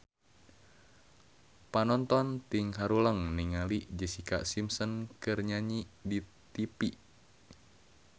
Panonton ting haruleng ningali Jessica Simpson keur nyanyi di tipi